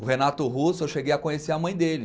O Renato Russo, eu cheguei a conhecer a mãe dele.